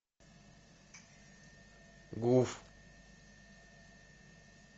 гуф